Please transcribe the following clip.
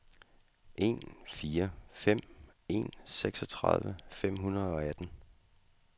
en fire fem en seksogtredive fem hundrede og atten